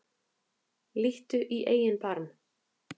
Líttu í eigin barm